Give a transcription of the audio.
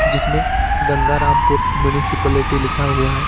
जिसमे गंगारामपुर म्युनिसिपालिटी लिखा हुआ है।